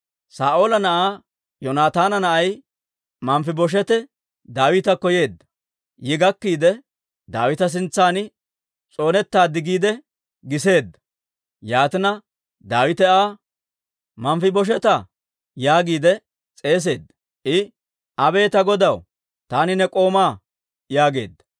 Saa'oola na'aa Yoonataana na'ay Manfibosheete Daawitakko yeedda; yi gakkiide, Daawita sintsan s'oonetaad giide giseedda. Yaatina, Daawite Aa, «Manfibosheetaa!» yaagiide s'eeseedda. I, «Abee ta godaw, taani ne k'oomaa» yaageedda.